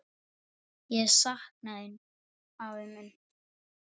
Ég sakna þín, afi minn.